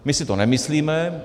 My si to nemyslíme.